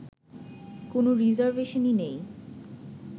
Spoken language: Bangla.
কোন রিজার্ভেশনই নেই